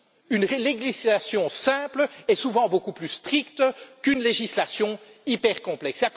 Une législation simple est souvent beaucoup plus stricte qu'une législation hyper complexe.